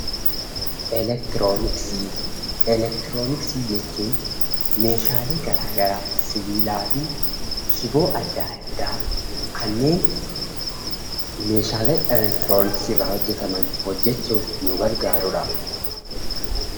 Elektirooniksii jechuun meeshaalee garaa garaa sibiilaa fi shiboo adda addaa kanneen meeshaalee elektirooniksii irraa hojjetaman hojjechuuf nu gargaarudha.